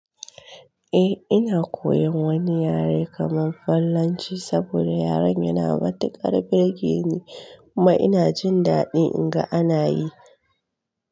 Eh ina koyan wani yare kaman Fallanci saboda yaren yana matuƙar burge ni kuma ina jin daɗi in ga ana yi.